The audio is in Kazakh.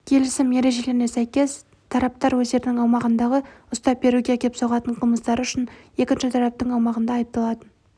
келісім ережелеріне сәйкес тараптар өздерінің аумағындағы ұстап беруге әкеп соғатын қылмыстары үшін екінші тараптың аумағында айыпталатын